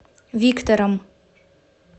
виктором